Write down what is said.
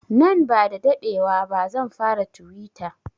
Nan ba sa daɗewa ba zan fara tuwita